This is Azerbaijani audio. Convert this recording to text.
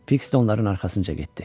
Fiks də onların arxasınca getdi.